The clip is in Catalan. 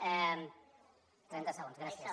trenta segons gràcies